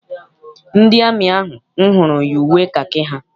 Ndị amị ahụ m hụrụ yi uwe kakị ha.